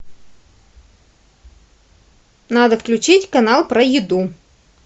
надо включить канал про еду